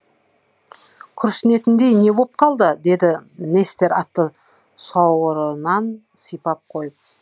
күрсінетіндей не боп қалды деді нестер атты сауырынан сипап қойып